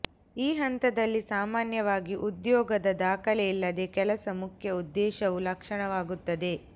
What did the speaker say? ಈ ಹಂತದಲ್ಲಿ ಸಾಮಾನ್ಯವಾಗಿ ಉದ್ಯೋಗದ ದಾಖಲೆ ಇಲ್ಲದೆ ಕೆಲಸ ಮುಖ್ಯ ಉದ್ದೇಶವು ಲಕ್ಷಣವಾಗುತ್ತದೆ